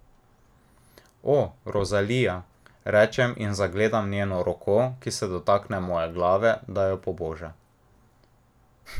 O, Rozalija, rečem in zagledam njeno roko, ki se dotakne moje glave, da jo poboža.